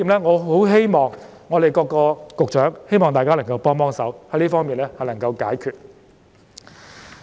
我希望各位局長能夠幫幫忙，使這方面的問題能夠得以解決。